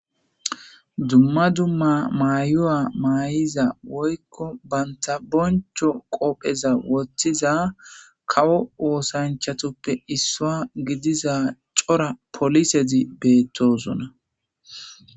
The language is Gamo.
Dumma dumma mayuwa maay'iza woykko banta boncho qoopheza woththiza kawo woosanchatoppe issua gidiza cora polisedi beettosuna